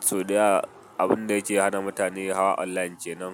sau da yawa abun da yake hana mutane hawa online kenan.